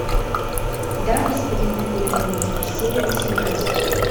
да господин премьер министр серия восемнадцать